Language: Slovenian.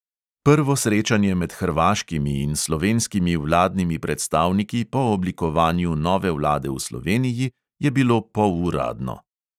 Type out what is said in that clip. Prvo srečanje med hrvaškimi in slovenskimi vladnimi predstavniki po oblikovanju nove vlade v sloveniji je bilo poluradno.